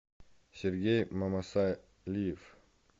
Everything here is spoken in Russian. сергей мамасалиев